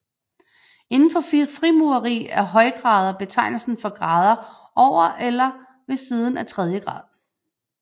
Inden for frimureri er højgrader betegnelsen for grader over eller ved siden af tredje grad